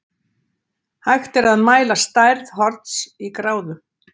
Hægt er að mæla stærð horns í gráðum.